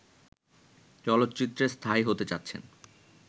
চলচ্চিত্রে স্থায়ী হতে চাচ্ছেন